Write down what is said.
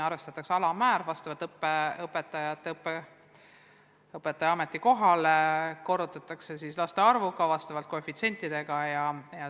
Arvestatakse alammäär vastavalt õpetaja ametikohale, tähtis on ka laste arv ja teatud koefitsiendid.